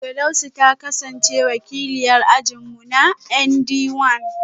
Firdausi ta kasance wakiliyar ajin mu a ND one